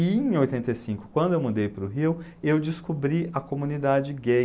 E em ooitenta e cionco, quando eu mudei para o Rio, eu descobri a comunidade gay.